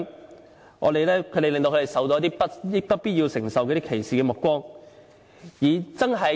這些濫用聲請人令他們受到一些不必要承受的歧視目光。